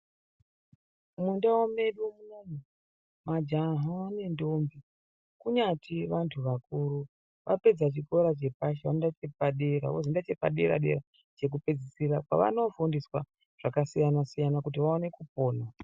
Mundau medu munomu majaha nendombi ,kunyati vantu vakuru vapedza chikora chepashi vanoenda chepadera wozoenda chepadera -dera chekupedzisira kwavanofundiswa zvakasiyana -siyana kuti vaone kupona